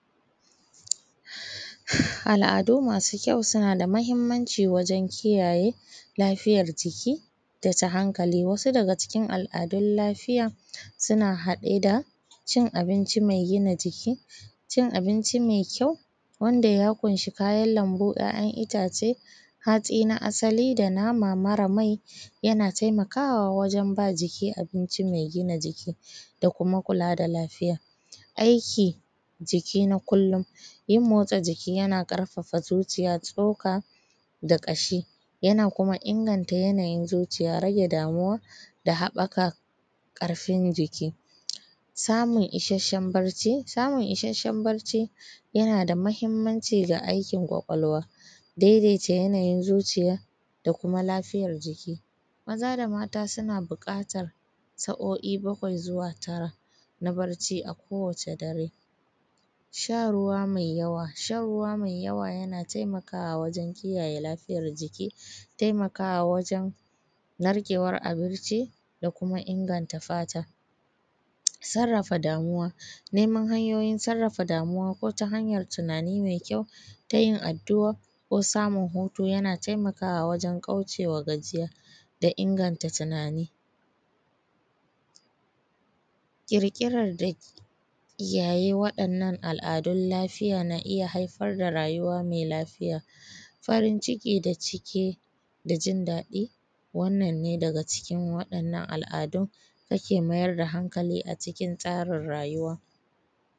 Al`adu masu kyau suna da mahimmanci wajen kiyaye lafiyar jiki dasu hankali, wasu daga cikin al`adun lafiya suna haɗe da cin abinci mai gida jiki, cikin abinci mai kyau wanda ya kunshi kayan lambu `ya`yan itace, hatsi na asali da nama mara mai yana taimakawa wajen ba jiki abinci mai gina jiki da kuma kula da lafiya. Aiki jiki na kullum, yin motsa jiki yana ƙarfafa zuciya, tsoka da ƙashi yana kuma inganta yanayin zuciya, rage damuwa da haɓɓaka ƙarfin jiki samun ishashshen bacci, samun ishashshen bacci yana da mahimmanci da aikin ƙwaƙwalwa daidaita yanayin zuciya da kuma lafiyar jiki Maza da mata suna buƙatan sa`o`I bakwai zuwa tara na barci a kowace dare. Shan ruwa mai yawa, shan ruwa mai yawa yana taimakawa wajen kiyaye lafiyar jiki, taimakawa wajen narkewan abinci da kuma inganta fata, sarrafa damuwa neman hanyoyin sarrafa damuwa ko ta hanyan tunani mai kyau, tayin addu`a ko samun hutu yana taimakawa wajen kaucewa gajiya da inganta tunani ƙirƙirar da kiyaye wa`yannan al`adun lafiya na iya haifar da rayuwa mai lafiya farin ciki da cike da jin daɗi wannan ne dake cikin waɗannan al`adun dake mayar da hanali a cikin tsarin rayuwa